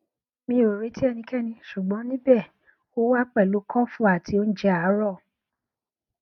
mi o reti ẹnikẹni ṣugbọn nibẹ o wa pẹlu kọfu ati ounjẹ aarọ